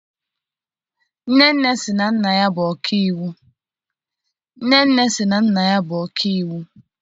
Nnenne sị na nna ya bụ ọkaiwu.